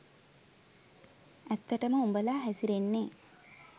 ඇත්තටම උඹලා හැසිරෙන්නෙ